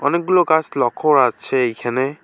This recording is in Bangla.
অনেকগুলো গাছ লক্ষ্য করা যাচ্ছে এইখানে।